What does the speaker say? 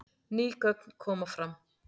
Ný gögn koma fram